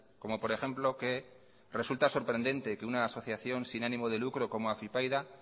como por ejemplo que resulta sorprendente que una asociación sin ánimo de lucro como afypaida